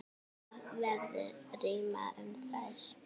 Þar verði rýmra um þær.